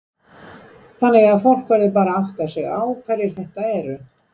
Þannig að fólk verður bara að átta sig á hverjir þetta eru?